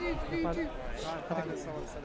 okay അപ്പത്~ അതെങ്ങനെയാണ്?